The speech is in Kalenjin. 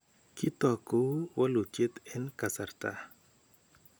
Kitook kou walutyet en kasarta